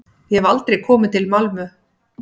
Ég hef aldrei komið til Malmö.